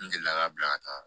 N delila ka bila ka taa